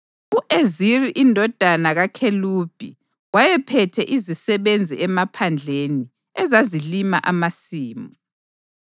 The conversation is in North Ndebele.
U-Eziri indodana kaKhelubi wayephethe izisebenzi emaphandleni ezazilima amasimu.